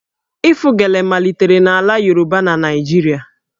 Ịfụ gele malitere na ala Yoruba na Naịjirịa